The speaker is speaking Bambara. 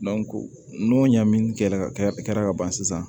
n'o ɲamin kɛ la ka ban sisan